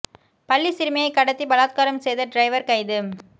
பள்ளி சிறுமியை கடத்தி பலாத்காரம் செய்த டிரைவர் கைது